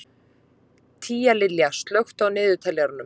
Tíalilja, slökktu á niðurteljaranum.